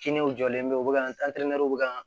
Kininw jɔlen bɛ u bɛ ka bɛ ka